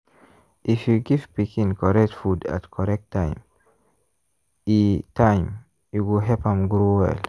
if you give pikin correct food at correct time e time e go help am grow well.